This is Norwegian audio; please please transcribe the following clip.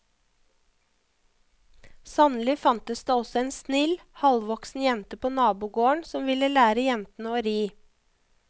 Sannelig fantes det også en snill, halvvoksen jente på nabogården som ville lære jentene å ri.